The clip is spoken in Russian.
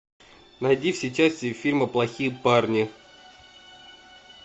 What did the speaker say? найди все части фильма плохие парни